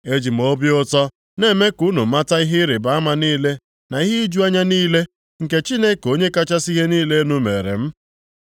E ji m obi ụtọ, na-eme ka unu mata ihe ịrịbama niile na ihe iju anya niile, nke Chineke Onye kachasị ihe niile elu meere m.